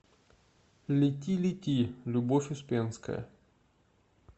лети лети любовь успенская